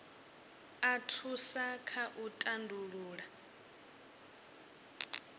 a thusa kha u tandulula